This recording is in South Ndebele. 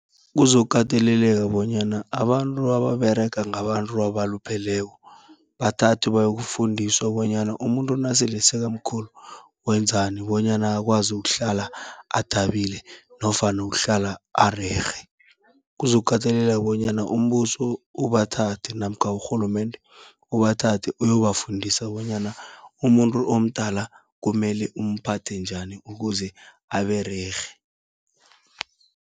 Kuzokukateleleka bonyana abantu ababerega ngabantu abalupheleko, bathathwe bayokufundiswa bonyana umuntu nasele sekamkhulu wenzani bonyana akwazi ukuhlala athabile nofana ukuhlala arerhe. Kuzokukateleleka bonyana umbuso ubathathe namkha urhulumende ubathathe uyobafundisa bonyana, umuntu omdala kumele umphathe njani ukuze abererhe.